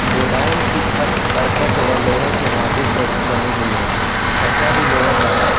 Godown की छत करकट वह लोहे के ढांचे से बनी हुई है छज्जा भी लोहे का है।